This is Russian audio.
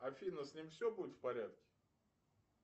афина с ним все будет в порядке